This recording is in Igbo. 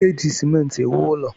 Eji simenti ewu ụlọ.